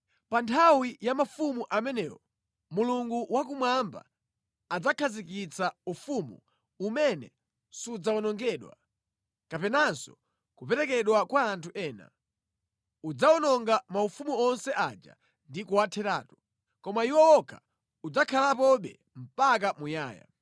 “Pa nthawi ya mafumu amenewo, Mulungu wakumwamba adzakhazikitsa ufumu umene sudzawonongedwa, kapenanso kuperekedwa kwa anthu ena. Udzawononga maufumu onse aja ndi kuwatheratu, koma iwo wokha udzakhalapobe mpaka muyaya.